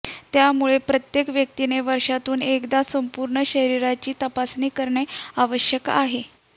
त्यामुळे प्रत्येक व्यक्तीने वर्षातून एकदा संपूर्ण शरीराची तपासणी करणे आवश्यक आहे